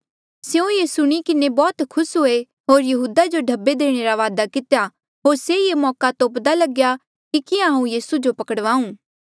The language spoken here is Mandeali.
स्यों ये सुणी किन्हें बौह्त खुस हुए होर यहूदा जो ढब्बे देणे रा वादा कितेया होर से ये मौका तोप्दा लग्या कि किहाँ हांऊँ यीसू जो पकड़वाऊं